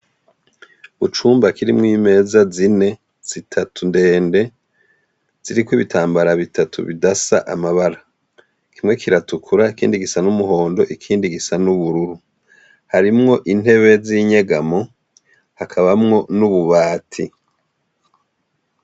Icumba kirimwo imeza zine zitatu ndende ziriko ibitambara bitatu bidasa amabara kimwe kiratukura ikindigisa numuhondo ikindi gisa nubururu hamwo intebe zinyegamwo hakabamwo nububati